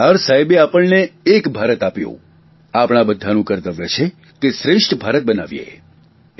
સરદાર સાહેબે આપણને એક ભારત આપ્યું આપણા બધાનું કર્તવ્ય છે કે શ્રેષ્ઠ ભારત બનાવીએ